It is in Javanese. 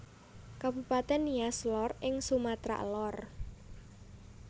Kabupatèn Nias Lor ing Sumatra Lor